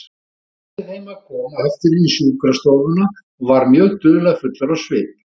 Hann benti þeim að koma aftur inn í sjúkrastofuna og var mjög dularfullur á svip.